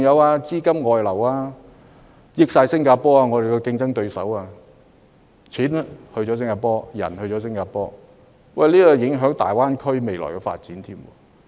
此外，資金的外流亦讓我們的競爭對手新加坡得以受惠，不論金錢和人才均流向新加坡，這勢必影響大灣區的未來發展。